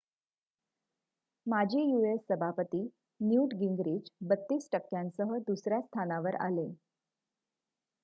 माजी यू.एस. सभापती Newt Gingrich 32 टक्क्यांसह दुसर्‍या स्थानावर आले